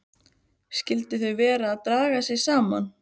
Skyldu þau vera að draga sig saman?